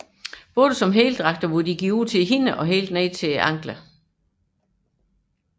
Både som heldragter hvor de ud til hænderne og ned til anklerne